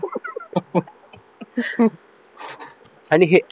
आणि हे